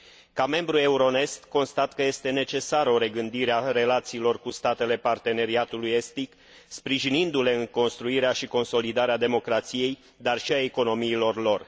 Ca membru Euronest, constat că este necesară o regândire a relațiilor cu statele Parteneriatului estic, sprijinindu le în construirea și consolidarea democrației, dar și a economiilor lor.